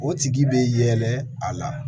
O tigi bɛ yɛlɛ a la